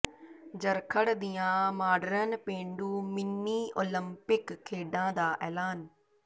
ਜਰਖੜ ਦੀਆਂ ਮਾਡਰਨ ਪੇਂਡੂ mini Olympic ਖੇਡਾਂ ਦਾ ਐਲਾਨ